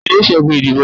tani o ṣẹgun idibo naa?